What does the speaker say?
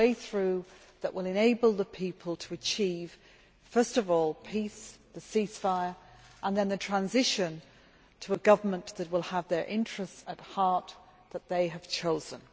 A way through that will enable the people to achieve first of all peace a ceasefire and then a transition to a government that will have their interests at heart, and that they have chosen.